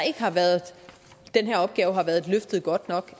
ikke har været løftet godt nok